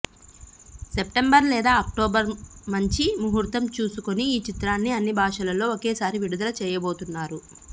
September లేదా అక్టోబర్లో మంచి ముహూర్తం చూసుకుని ఈ చిత్రాన్ని అన్ని భాషలలో ఒకేసారి విడుదల చేయబోతున్నారు